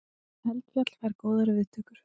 Eldfjall fær góðar viðtökur